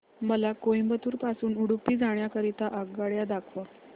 मला कोइंबतूर पासून उडुपी जाण्या करीता आगगाड्या दाखवा